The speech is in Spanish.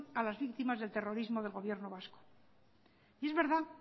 a las víctimas del terrorismo del gobierno vasco y es verdad